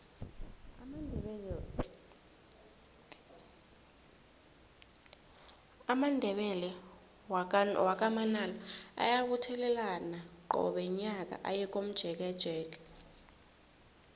amandebele wakwa manala ayabuthelana qobe nyaka aye komjekejeke